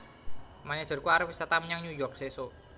Manajerku arep wisata menyang New York sesok